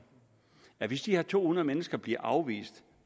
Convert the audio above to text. at hvis de her to hundrede mennesker bliver afvist